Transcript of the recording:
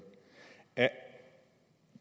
er